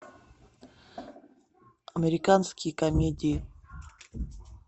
американские комедии